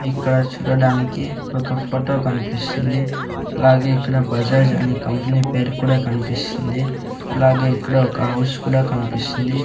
ఇక్కడ చూడడానికి ఒక ఫోటో కనిపిస్తుంది అలాగే ఇక్కడ బజాజ్ అనే కంపెనీ పేరు కూడా కన్పిస్తుంది అలాగే ఇక్కడ ఒక హౌస్ కూడా కన్పిస్తుంది.